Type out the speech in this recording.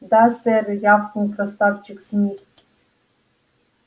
да сэр рявкнул красавчик смит